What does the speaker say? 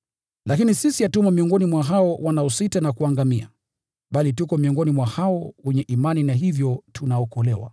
Lakini sisi hatumo miongoni mwa hao wanaositasita na kuangamia, bali tuko miongoni mwa hao wenye imani na hivyo tunaokolewa.